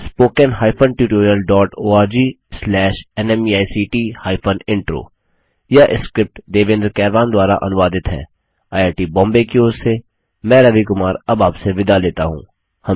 spoken hyphen tutorial dot org slash NMEICT hyphen intro यह script Devendra Kairwan द्वारा अनुवादित हैआईआईटीबॉम्बे की और से मैं रवि कुमार अब आपसे विदा लेता हूँ